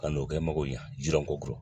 Ka n'o kɛ mɔgɔ ɲa jiran ko